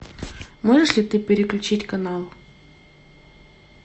можешь ли ты переключить канал